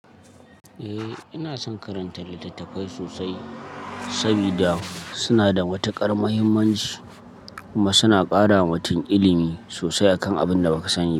Eh, ina son karanta littattafai sosai sabida suna da wata ƙaramuhimmanci, kuma suna ƙara wa mutum ilimi sosai akan abinda baka sani ba.